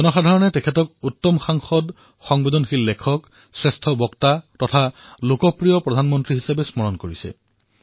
জনসাধাৰণে তেওঁক উত্তম সাংসদ সংবেদনশীল লেখক শ্ৰেষ্ঠ বক্তা লোকপ্ৰিয় প্ৰধানমন্ত্ৰীৰ ৰূপত মনত ৰাখিছে